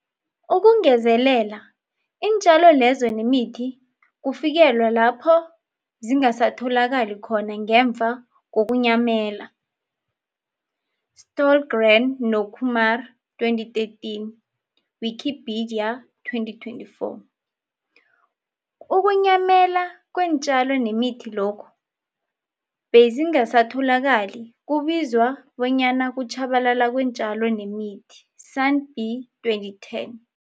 Ukungezelela, iintjalo lezo nemithi kufikelwa lapho zingasatholakali khona ngemva kokunyamela, Stohlgren no-Kumar 2013, ne-Wikipedia 2024. Ukunyamela kweentjalo nemithi lokhu bezingasatholakali kubizwa bonyana kutjhabalala kweentjalo nemithi, SANBI 2010.